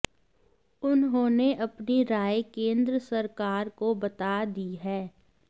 उन्होंने अपनी राय केंद्र सरकार को बता दी है